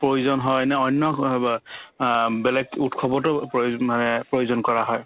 প্ৰয়োজন হয় নে অন্য ক'ৰবাত আ বেলেগ উৎসৱতো প্ৰয়োজ মানে প্ৰয়োজন কৰা হয়